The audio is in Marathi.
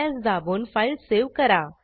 Ctrls दाबून फाईल सेव्ह करा